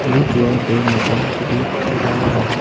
एक या दो मकान जा रहे हैं।